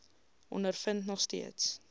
ondervind nog steeds